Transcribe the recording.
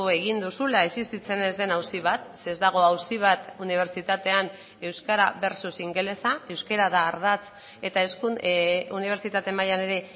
egin duzula existitzen ez den auzi bat ze ez dago auzi bat unibertsitatean euskara versus ingelesa euskara da ardatz eta unibertsitate mailan ere